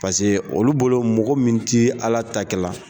Paseke olu bolo mɔgɔ min ti Ala ta kɛla